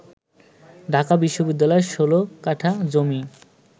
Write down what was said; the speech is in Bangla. ঢাকা বিশ্ববিদ্যালয়ের ১৬ কাঠা জমি